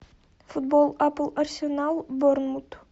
футбол апл арсенал борнмут